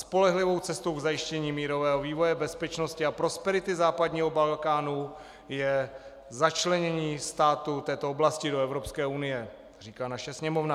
"Spolehlivou cestou k zajištění mírového vývoje, bezpečnosti a prosperity západního Balkánu je začlenění států této oblasti do Evropské unie," říká naše Sněmovna.